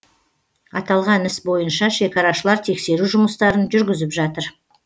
аталған іс бойынша шекарашылар тексеру жұмыстарын жүргізіп жатыр